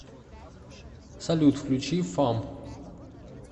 салют включи фам